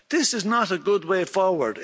This is not a good way forward.